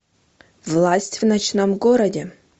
власть в ночном городе